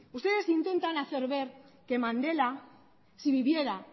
ustedes intentan hacer ver que mandela si viviera